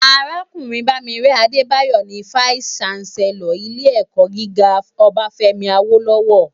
Arákúrìn Bamire Adebayo ni fáìsí ṣánsèlòr ilé èkò gigá Obafemi Awolowo